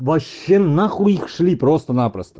вообще нахуй их шли просто напросто